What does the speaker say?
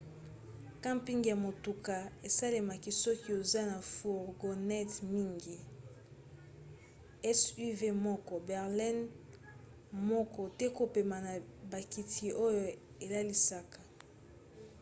camping ya motuka esalemaka soki oza na fourgonnette mingi suv moko berline moko to kopema na bakiti oyo elalisaka